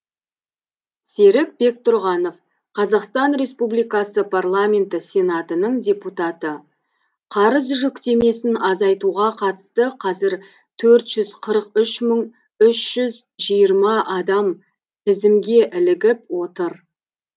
серік бектұрғанов қазақстан республикасы парламенті сенатының депутаты қарыз жүктемесін азайтуға қатысты қазір төрт жүз қырық үш мың үш жүз жиырма адам тізімге ілігіп отыр